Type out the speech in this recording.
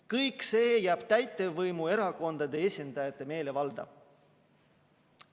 Kõik see jääb täitevvõimu erakondade esindajate meelevalda.